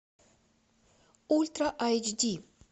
ультра айч ди